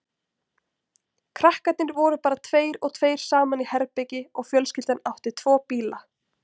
Krakkarnir voru bara tveir og tveir saman í herbergi og fjölskyldan átti tvo bíla.